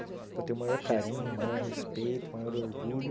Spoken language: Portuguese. Eu tenho o maior carinho, o maior respeito, o maior orgulho